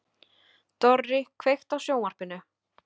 Dorri, kveiktu á sjónvarpinu.